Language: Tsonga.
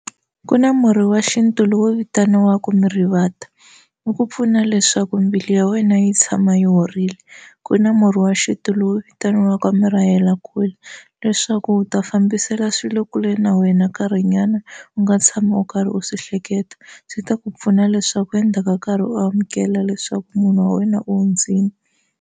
Ku na murhi wa xintu lowu vitaniwaka mirivata wu ku pfuna leswaku mbilu ya wena yi tshama yi horile ku na murhi wa xintu lowu vitaniwaka murahelakule leswaku u ta fambisela swilo kule na wena nkarhinyana u nga tshami u karhi u swi hleketa swi ta ku pfuna leswaku endzhaku ka nkarhi u amukela leswaku munhu wa wena u hundzile.